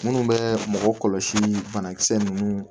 Minnu bɛ mɔgɔ kɔlɔsi banakisɛ ninnu